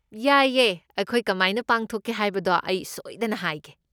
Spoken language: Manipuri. ꯌꯥꯏꯌꯦ! ꯑꯩꯈꯣꯏ ꯀꯃꯥꯏꯅ ꯄꯥꯡꯊꯣꯛꯀꯦ ꯍꯥꯏꯕꯗꯣ ꯑꯩ ꯁꯣꯏꯗꯅ ꯍꯥꯏꯒꯦ꯫